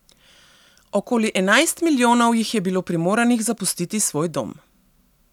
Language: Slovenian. Okoli enajst milijonov jih je bilo primoranih zapustiti svoj dom.